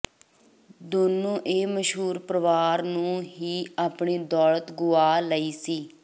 ਦੋਨੋ ਇਹ ਮਸ਼ਹੂਰ ਪਰਿਵਾਰ ਨੂੰ ਹੀ ਆਪਣੀ ਦੌਲਤ ਗੁਆ ਲਈ ਸੀ